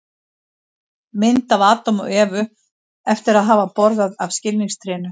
Mynd af Adam og Evu eftir að hafa borðað af skilningstrénu.